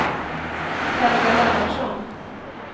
Helga Lennartsson